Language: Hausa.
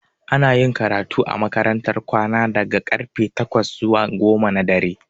Ana yin karatu a makarantar kwana daga karfe takwas zuwa goma na dare